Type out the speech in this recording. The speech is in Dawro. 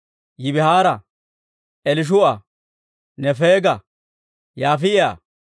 Yibihaara, Elishuu'a, Nefeega, Yaafi'a,